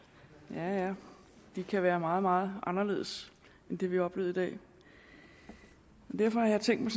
ja ja de kan være meget meget anderledes end det vi har oplevet i dag derfor har jeg tænkt